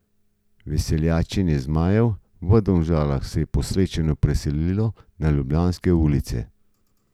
Veseljačenje zmajev v Domžalah se je po srečanju preselilo na ljubljanske ulice.